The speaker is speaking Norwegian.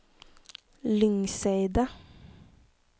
Lyngseidet